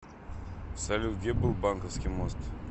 салют где был банковский мост